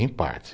Em parte.